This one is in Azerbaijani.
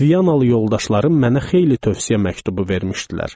Viyanalı yoldaşlarım mənə xeyli tövsiyə məktubu vermişdilər.